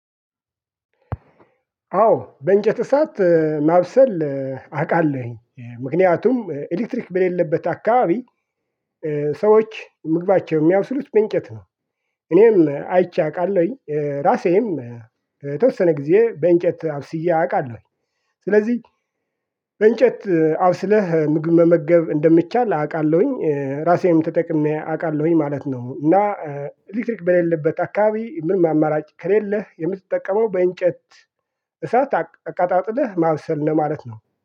አዎ በእንጨት እሳት ማብሰል አውቃለሁኝ። ምክንያቱም ኤሌክትሪክ በሌለበት አካባቢ ሰዎች ምግባቸው የሚያበስሉት በእንጨት ነው። እኔም አይቼ አውቃለሁኝ ራሴም የተወሰነ ጊዜ በእንጨት አብስዬ አውቃለሁኝ። ስለዚህ በእንጨት አብስለህ ምግብ መመገብ እንደሚቻል አውቃለሁኝ። ራሴም ተጠቅሜ አውቃለሁኝ ማለት ነው እና ኤሌክትሪክ በሌለበት አካባቢ ምንም አማራጭ ከሌለህ የምትጠቀመው በእንጨት እሳት አቀጣጥለህ ማብሰል ነው ማለት ነው።